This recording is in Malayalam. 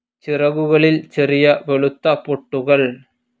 ചിറകുകളിൽ ചെറിയ വെളുത്ത പൊട്ടുകൾ.